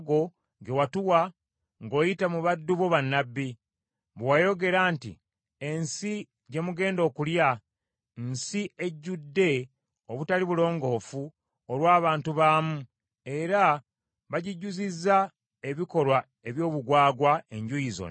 ge watuwa ng’oyita mu baddu bo bannabbi, bwe wayogera nti, ‘Ensi gye mugenda okulya, nsi ejjudde obutali bulongoofu olw’abantu baamu, era bagijjuzizza ebikolwa eby’obugwagwa enjuuyi zonna.